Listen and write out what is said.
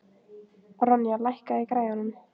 Ronja, lækkaðu í græjunum.